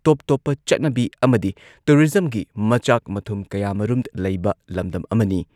ꯇꯣꯞ ꯇꯣꯞꯄ ꯆꯠꯅꯕꯤ ꯑꯃꯗꯤ ꯇꯨꯔꯤꯖꯝꯒꯤ ꯃꯆꯥꯛ ꯃꯊꯨꯝ ꯀꯌꯥꯃꯔꯨꯝ ꯂꯩꯕ ꯂꯝꯗꯝ ꯑꯃꯅꯤ ꯫